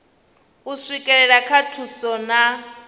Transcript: u swikelela kha thuso na